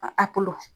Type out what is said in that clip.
A a bolo